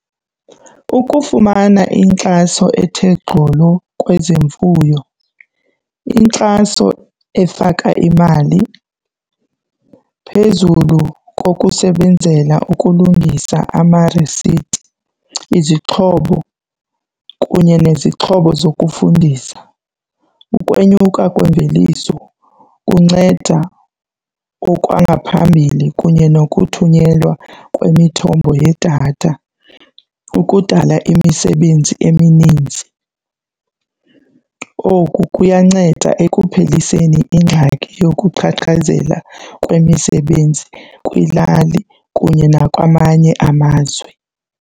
Ukufumana inkxaso ethe gqolo kwezemfuyo, inkxaso efaka imali phezulu kokusebenzela ukulungisa amarisiti izixhobo kunye nezixhobo zokufundisa. Ukwenyuka kwemveliso kunceda okwangaphambili kunye nokuthunyelwa kwemithombo yedatha ukudala imisebenzi eminintsi. Oku kuyanceda ekupheliseni ingxaki yokuqhaqhazela kwemisebenzi kwilali kunye nakwamanye amazwe.